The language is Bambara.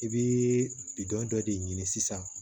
I bɛ bidɔn dɔ de ɲini sisan